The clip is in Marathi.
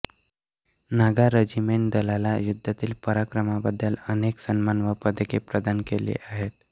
नागा रेजिमेंट दलाला युद्धातील पराक्रमांबद्दल अनेक सन्मान व पदके प्रदान केली गेली आहेत